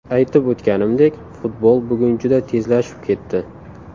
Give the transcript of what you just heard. Aytib o‘tganimdek, futbol bugun juda tezlashib ketdi.